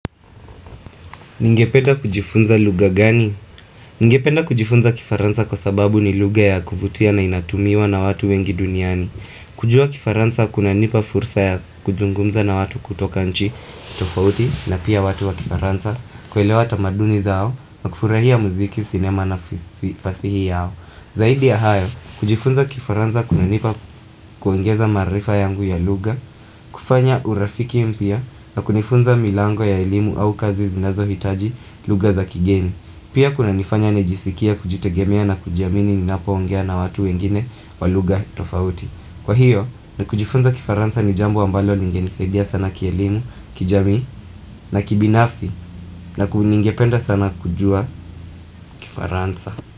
Ningependa kujifunza lugha gani? Ningependa kujifunza kifaransa kwa sababu ni lugha ya kuvutia na inatumiwa na watu wengi duniani. Kujua kifaransa kuna nipa fursa ya kuzungumza na watu kutoka nchi, tofauti, na pia watu wa kifaransa, kuelewa tamaduni zao, na kufurahia muziki, sinema na fasihi yao. Zaidi ya hayo, kujifunza kifaransa kume nipa kuongeza maarifa yangu ya lugha, kufanya urafiki mpya na kunifunza milango ya elimu au kazi zinazo hitaji lugha za kigeni Pia kuna nifanya nijiskie kujitegemea na kujiamini ni napoongea na watu wengine walugha tofauti Kwa hiyo na kujifunza kifaransa ni jambo ambalo lingeni saidia sana kielimu, kijamii na kibinafsi na kuni ningependa sana kujua kifaransa.